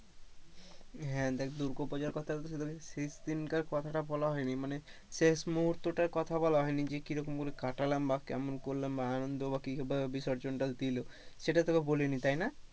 হ্যাঁ দেখ দুর্গো পূজোর কথা বলা হয়নি মানে শেষ মুহূর্তটার কথা বলা হয়নি যে কি রকম করে কাটালাম বা কেমন করলাম বা আনন্দ বা কেরকম বিসর্জন টা দিলো সেটা তোকে বলিনি তাই না,